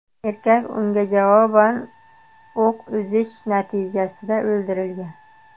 Erkak unga javoban o‘q uzish natijasida o‘ldirilgan.